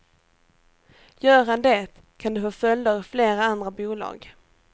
Gör han det kan det få följder i flera andra bolag.